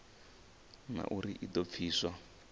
na uri i do pfiswa